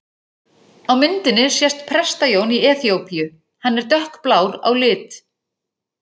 Á myndinni sést Presta-Jón í Eþíópíu, hann er dökkblár á lit.